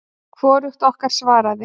Hvorug okkar svaraði.